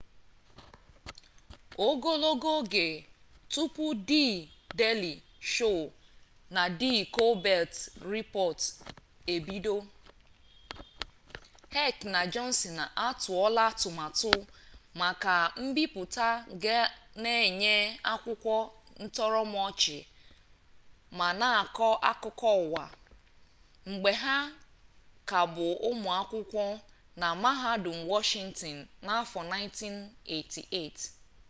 ogologo oge tupu di deeli sho na di kolbet rịpọt ebido heck na johnson atụọla atụmatụ maka mbipụta ga na-enye akụkọụwa ntọrọmọchị ma na-akọ akụkọụwa mgbe ha ka bụ ụmụ akwụkwọ na mahadum washịntịn n'afọ 1988